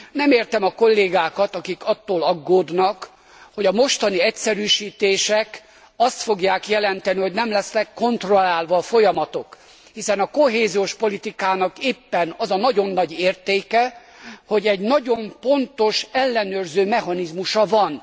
Nem értem a kollégákat, akik attól aggódnak, hogy a mostani egyszerűsítések azt fogják jelenteni, hogy nem lesznek kontrollálva a folyamatok, hiszen a kohéziós politikának éppen az a nagyon nagy értéke, hogy egy nagyon pontos ellenőrző mechanizmusa van.